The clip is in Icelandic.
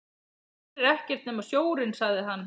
Hér er ekkert nema sjórinn, sagði hann.